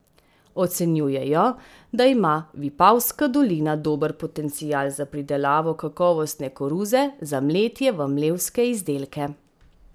Ocenjujejo, da ima Vipavska dolina dober potencial za pridelavo kakovostne koruze za mletje v mlevske izdelke.